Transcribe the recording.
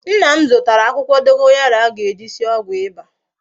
Nna m zutara akwukwo dogoyaro a ga-eji sie ogwu iba